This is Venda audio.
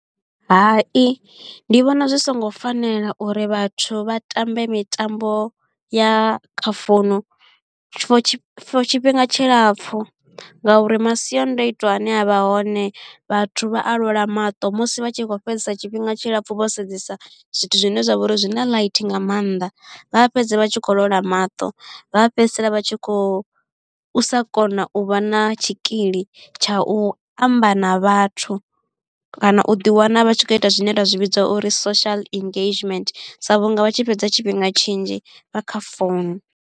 Hai ndi vhona zwi songo fanela uri vhathu vha tambe mitambo ya kha founu for tshifhinga tshilapfhu nga uri masiandoitwa ane avha hone vhathu vha alwala maṱo musi vha tshi kho fhedzesa tshifhinga tshilapfhu vho sedzesa zwithu zwine zwa vha uri zwi na ḽaithi nga maanḓa. Vha fhedza vha tshi kho lwala maṱo, vha fhedzisela vha tshi kho sa kona u vha na tshikili tsha u amba na vhathu, kana u ḓi wana vha tshi khou ita zwine ra zwi vhidza uri social engagement sa vhunga vha tshi fhedza tshifhinga tshinzhi vha kha founu.